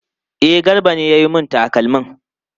E, Garba ne ya yi mun takalmin.